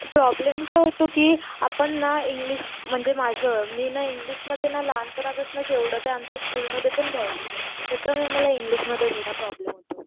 Problem काय होतो कि आपण ना इंग्लिश म्हणजे माझं मी ना इंग्लिश मध्ये ना लहान पानापासन एव्हडकही आमचं स्कूलमध्ये पण घ्यायचे नाही त्याच्यामुळे मला इंग्लिशमध्ये थोडा प्रॉब्लेम येतो.